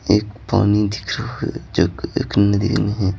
एक पानी दिख रहा है जो कि एक नदी में है।